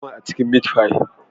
Akwai nama a cikin " meat pie"